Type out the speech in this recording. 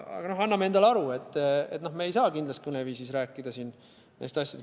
Aga anname endale aru, et me ei saa kindlas kõneviisis rääkida neist asjadest.